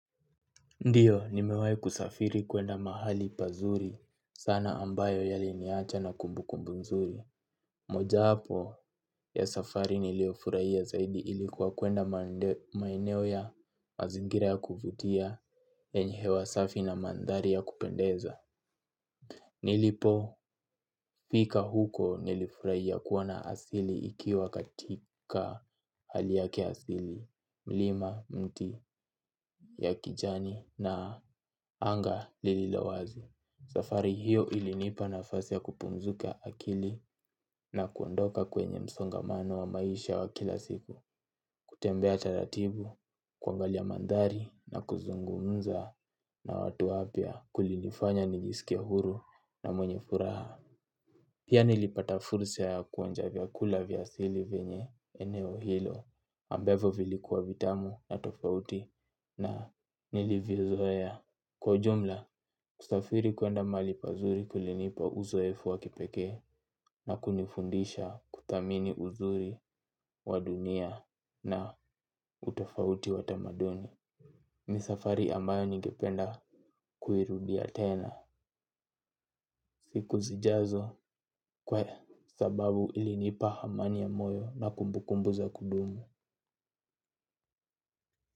Ndiyo, nimewai kusafiri kuenda mahali pazuri sana ambayo yali niacha na kumbu kumbu nzuri. Moja wapo ya safari nilio furaia zaidi ilikuwa kuenda maeneo ya mazingira ya kuvutia yenye hewa safi na mandhari ya kupendeza. Nilipofika huko nilifuraia kuona asili ikiwa katika hali yake asili mlima mti ya kijani na anga lililowazi. Safari hiyo ilinipa nafasi ya kupumzuka akili na kuondoka kwenye msongamano wa maisha wa kila siku. Kutembea taratibu, kuangalia mandhari na kuzungumza na watu wapya kulinifanya nijisikie huru na mwenye furaha. Pia nilipata fursa ya kuonja vyakula vya asili venye eneo hilo ambavyo vilikuwa vitamu na tofauti na niliviozoea. Kwa ujumla, kusafiri kuenda malipazuri kulinipa uzo efu wakipeke na kunifundisha kuthamini uzuri wadunia na utofauti watamaduni. Misafari ambayo nigependa kuirudia tena siku zijazo kwe sababu ilinipa hamani ya moyo na kumbukumbu za kudumu.